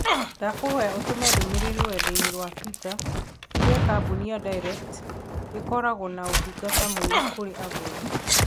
Ndakukũhoya ũtũme ndũmīrīri rũrenda-inī rũa tũita uuge kambũni ya Direct ĩkoragwo na ũtungata mũũru kũrĩ agũri